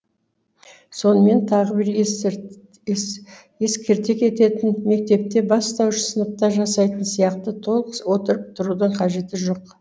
сонымен тағы бір ескерте кететіні мектепте бастауыш сыныпта жасайтын сияқты толық отырып тұрудың қажеті жоқ